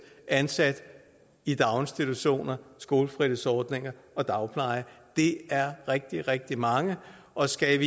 ansat i daginstitutioner skolefritidsordninger og dagpleje det er rigtig rigtig mange og skal